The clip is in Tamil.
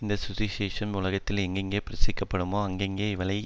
இந்த சுவிசேஷம் உலகத்தில் எங்கெங்கே பிரசிக்கப்படுமோ அங்கங்கே இவளை